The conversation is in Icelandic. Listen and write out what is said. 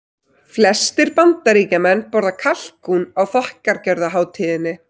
Flestir Bandaríkjamenn borða kalkún á þakkargjörðarhátíðinni.